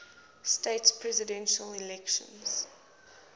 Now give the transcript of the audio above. states presidential election